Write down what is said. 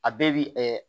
A bɛɛ bi